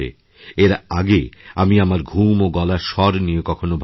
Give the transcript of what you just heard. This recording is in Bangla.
এর আগে আমি আমার ঘুম ও গলার স্বর নিয়েকক্ষনো ভাবিনি